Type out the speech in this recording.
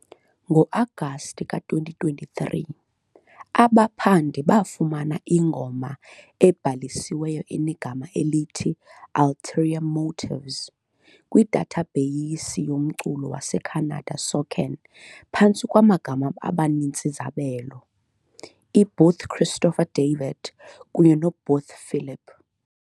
Ngo-Agasti ka-2023, abaphandi bafumana ingoma ebhalisiweyo enegama elithi "Ulterior Motives" kwidathabheyisi yomculo waseCanada SOCAN phantsi kwamagama abanini-zabelo "iBooth Christopher David" kunye "noBooth Philip".